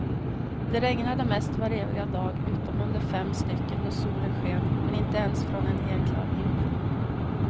Det regnade mest vareviga dag utom under fem stycken då solen sken, men inte ens från en helklar himmel.